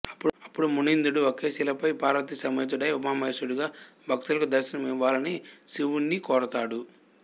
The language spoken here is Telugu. అపుడు మునీంద్రుడు ఒకే శిలపై పార్వతీ సమేతుడై ఉమామహేశ్వరుడుగా భక్తులకు దర్శనమివ్వాలని శివుని కోరతాడు